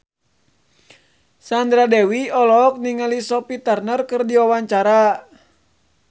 Sandra Dewi olohok ningali Sophie Turner keur diwawancara